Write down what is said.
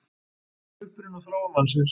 Uppruni og þróun mannsins